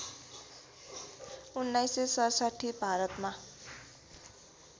१९६७ भारतमा